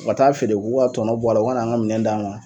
U ka t'a feere u k'u ka tɔnɔ bɔ a la u ka na an ka minɛn d'an ma.